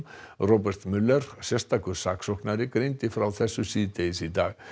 Robert sérstakur saksóknari greindi frá þessu síðdegis í dag